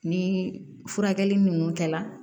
Ni furakɛli ninnu kɛla